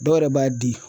Dɔw yɛrɛ b'a di